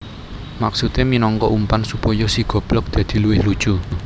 Maksudé minangka umpan supaya si goblog dadi luwih lucu